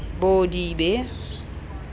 bodibe